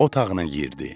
Otağına girdi.